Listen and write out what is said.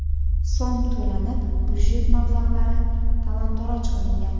so‘m to‘lanib, byudjet mablag‘lari talon-toroj qilingan.